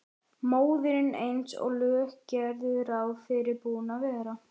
Móðirin eins og lög gerðu ráð fyrir búin að vera.